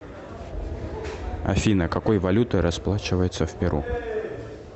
афина какой валютой расплачиваются в перу